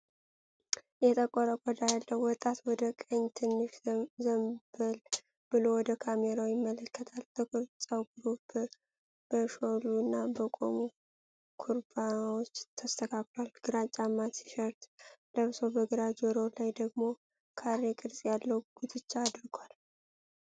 የጠቆረ ቆዳ ያለው ወጣት ወደ ቀኝ ትንሽ ዘንበል ብሎ ወደ ካሜራው ይመለከታል። ጥቁር ፀጉሩ በሾሉ እና በቆሙ ኩርባዎች ተስተካክሏል። ግራጫማ ቲሸርት ለብሶ በግራ ጆሮው ላይ ደግሞ ካሬ ቅርጽ ያለው ጉትቻ አድርጓል።